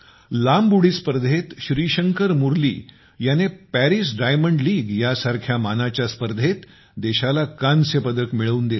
लांब उडी स्पर्धेत श्रीशंकर मुरली याने पॅरिस डायमंड लीग सारख्या मानाच्या स्पर्धेत देशाला कांस्यपदक मिळवून दिले